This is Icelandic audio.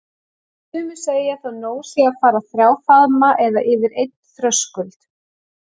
Sumir segja þó nóg sé að fara þrjá faðma eða yfir einn þröskuld.